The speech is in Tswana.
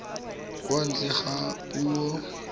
kwa ntle ga go bua